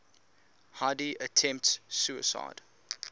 heidi attempts suicide